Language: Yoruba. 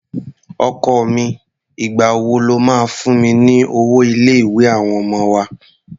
Ọkọ mi, ìgbà wo lo máa fún mi ní owó ilé-ìwé àwọn ọmọ wa?